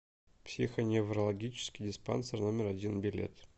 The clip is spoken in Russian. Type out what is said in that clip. психоневрологический диспансер номер один билет